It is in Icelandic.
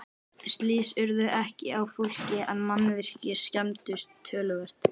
Slys urðu ekki á fólki en mannvirki skemmdust töluvert.